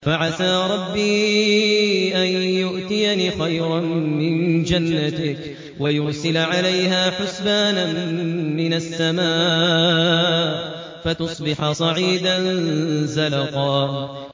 فَعَسَىٰ رَبِّي أَن يُؤْتِيَنِ خَيْرًا مِّن جَنَّتِكَ وَيُرْسِلَ عَلَيْهَا حُسْبَانًا مِّنَ السَّمَاءِ فَتُصْبِحَ صَعِيدًا زَلَقًا